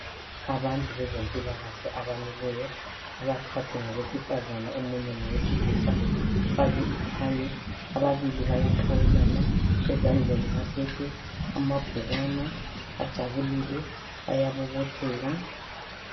Abantu bezempilakahle abamileyo. Abathathu ngabesifazana, omunye ngowesilisa. Ufake ithayi. Ababili bayaqhawulana, Ezandleni baphethe amabhukwana. Bajabulile. Bayabobotheka !